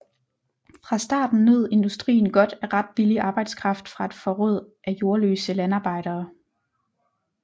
Fra starten nød industrien godt af ret billig arbejdskraft fra et forråd af jordløse landarbejdere